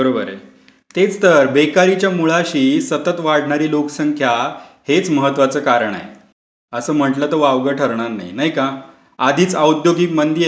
बरोबर आहे. तेच तर बेरोजगारीच्या मुळाशी सतत वाढणारी लोकसंख्या हेच महत्वाचं कारण आहे, असं म्हंटलं तर वावगं ठरणार नाही. नाही का? आधीच औद्योगिक मंदी आहे,